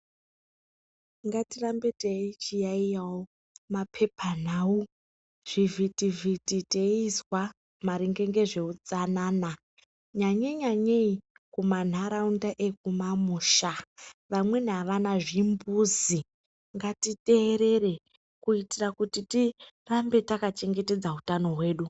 Ngatirambei teichiyaiyawo mapepanhau, zvivhiti vhiti teizwa maringe ngezveutsanana nyanye nyanyei kumanharaunda ekumamusha vamweni avana zvimbuzi ngatiteerere kuitira kuti tirambe takachengetedza utano hwedu.